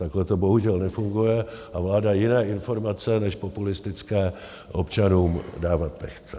Takhle to bohužel nefunguje a vláda jiné informace než populistické občanům dávat nechce.